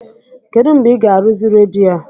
Kedụ mgbe ị ga-arụzi redio a?